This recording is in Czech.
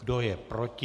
Kdo je proti?